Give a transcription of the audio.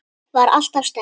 Var alltaf sterk.